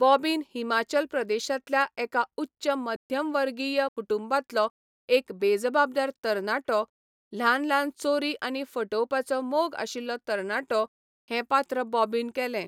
Bobbin Himachal प्रदेशांतल्या एका उच्च मध्यमवर्गीय कुटुंबांतलो एक बेजबाबदार तरणाटो, ल्हान ल्हान चोरी आनी फटोवपाचो मोग आशिल्लो तरणाटो, हें पात्र बॉबीन केलें.